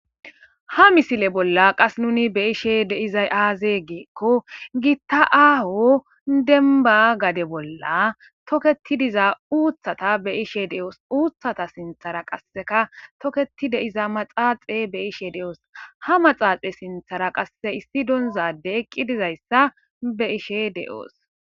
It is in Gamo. Ha misile bolla qas nuni be ishe deizay aaze geekko giitta aaho denba gade bolla toketi diza uuththata be ishe de7oos uuthata sinthara qasseka toketi deiza maxaaxe be ishe de7oos ha maxaaxe sinthara qasse issi donzade eqqi dizayssa be ishe de7oos